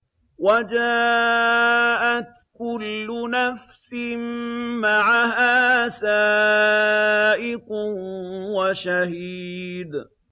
وَجَاءَتْ كُلُّ نَفْسٍ مَّعَهَا سَائِقٌ وَشَهِيدٌ